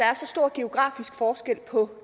er så stor geografisk forskel på